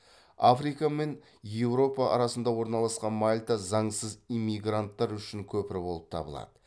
африка мен еуропа арасында орналасқан мальта заңсыз иммигранттар үшін көпір болып табылады